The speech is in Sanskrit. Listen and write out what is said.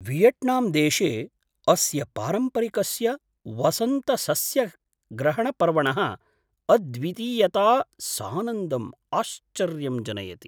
वियेट्नाम् देशे अस्य पारम्परिकस्य वसन्तसस्यग्रहणपर्वणः अद्वितीयता सानन्दम् आश्चर्यं जनयति।